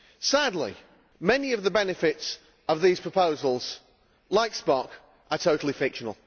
Sadly, many of the benefits of these proposals, like Spock, are totally fictional.